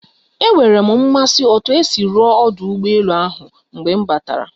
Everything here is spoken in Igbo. Enwere m mmasị otu esi rụọ ọdụ ụgbọ elu ahụ mgbe m batara